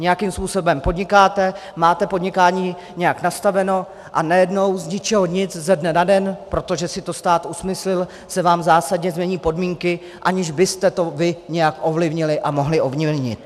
Nějakým způsobem podnikáte, máte podnikání nějak nastaveno, a najednou z ničeho nic, ze dne na den, protože si to stát usmyslil, se vám zásadně změní podmínky, aniž byste to vy nějak ovlivnili a mohli ovlivnit.